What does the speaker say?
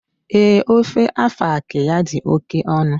Ee, ofe afang ya di oke onu